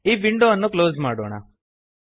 ಈ ವಿಂಡೋ ಅನ್ನು ಕ್ಲೋಸ್ ಮಾಡೋಣ